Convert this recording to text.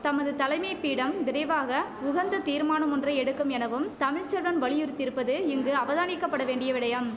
தமது தலைமைப்பீடம் விரைவாக உகந்த தீர்மானமொன்றை எடுக்கும் எனவும் தமிழ் செல்வன் வலியுறுத்தியிருப்பது இங்கு அவதானிக்க படவேண்டிய விடையம்